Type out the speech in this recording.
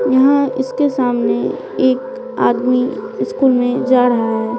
यहां इसके सामने एक आदमी स्कूल में जा रहा है।